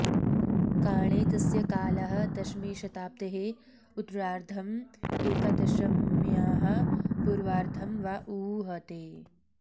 काणे तस्य कालः दशमीशताब्देः उत्तरार्द्धं एकादशम्याः पूर्वार्द्धं वा ऊहते